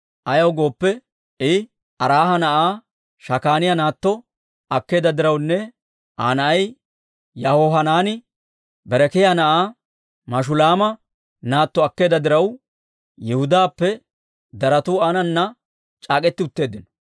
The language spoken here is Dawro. Ayaw gooppe, I Araaha na'aa Shakaaniyaa naatto akkeedda dirawunne Aa na'ay Yahohanaani Berekiyaa na'aa Mashulaama naatto akkeedda diraw, Yihudaappe daratu aanana c'aak'k'eti utteeddino.